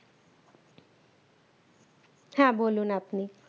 হ্যাঁ বলুন আপনি